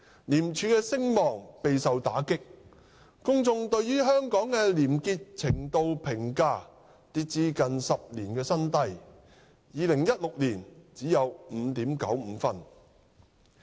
廉署的聲望備受打擊，公眾對於香港廉潔程度評價跌至近10年新低 ，2016 年只有 5.95 分。